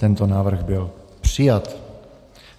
Tento návrh byl přijat.